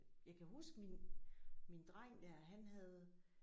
Jeg kan huske min min dreng der han havde